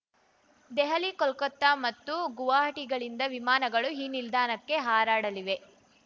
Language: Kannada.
ದೆಹಲಿ ಕೋಲ್ಕತಾ ಮತ್ತು ಗುವಾಹಟಿಗಳಿಂದ ವಿಮಾನಗಳು ಈ ನಿಲ್ದಾಣಕ್ಕೆ ಹಾರಾಡಲಿವೆ